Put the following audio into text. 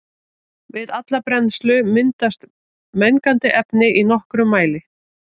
Við alla brennslu myndast mengandi efni í nokkrum mæli.